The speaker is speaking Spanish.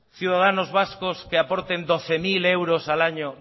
ciudadanos vascos que aporten doce mil euros al año